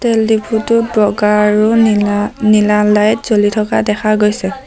তেল ডিপোটোত বগা আৰু নীলা লাইট জ্বলি থকা দেখা গৈছে।